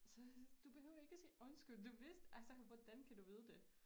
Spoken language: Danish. Så var jeg du behøver ikke sige undskyld du vidste altså hvordan kan du vide det